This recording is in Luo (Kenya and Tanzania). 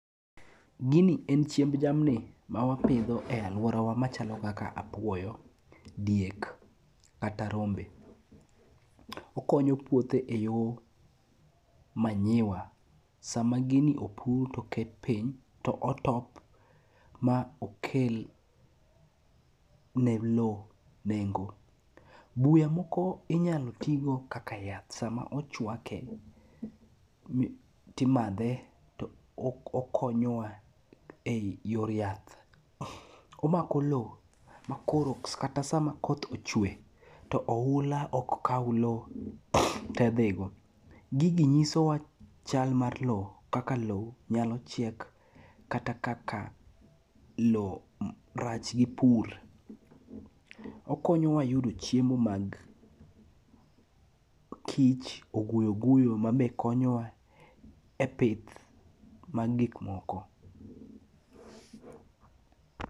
Gini en chiemb jamni ma wapidho e alworawa machalo kaka apuoyo, diek kata rombe. Okonyo puothe e yo manyiwa. Sama gini opudh to ket piny ,to otop ma okel ne lowo nengo. Buya moko inyalo tigo kaka yath sama ochwake, timadhe, to okonyowa e yor yath. Omako lowo makoro kata sama koth ochwe, to ohula ok kaw lowo te dhigo. Gigi nyisowa chal mar lowo kaka lowo nyalo chiek kata kaka lowo rach gi pur. Okonyowa yudo chiemo mag kich, oguyo guyo mabe konyowa e pith mag gikmoko.